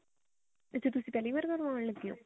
ਅੱਛਾ ਤੁਸੀਂ ਪਹਿਲੀ ਵਾਰ ਕਰਵਾਉਣ ਲੱਗੇ ਹੋ